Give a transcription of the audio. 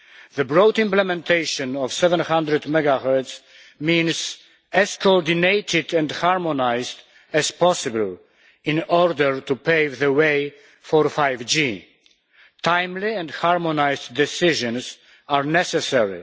The broad implementation of 700 MHz is meant to be as coordinated and harmonised as possible, in order to pave the way for 5G. Timely and harmonised decisions are necessary.